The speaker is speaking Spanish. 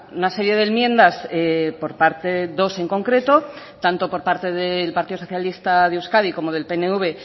una serie de enmiendas por parte dos en concreto tanto por parte del partido socialista de euskadi como del pnv